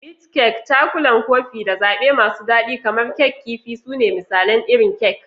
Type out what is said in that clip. Meat kek, Cakulan Kofin, da zaɓe masu daɗi kamar Kek Kifi su ne misalan irin kek.